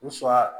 U sura